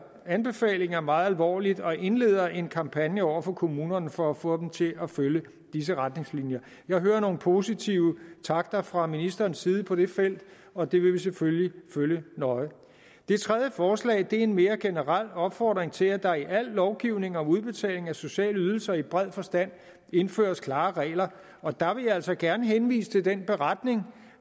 anbefalinger meget alvorligt og indleder en kampagne over for kommunerne for at få dem til at følge disse retningslinjer jeg hører nogle positive takter fra ministerens side på det felt og det vil vi selvfølgelig følge nøje det tredje forslag er en mere generel opfordring til at der i al lovgivning om udbetaling af sociale ydelser i bred forstand indføres klare regler og der vil jeg altså gerne henvise til den beretning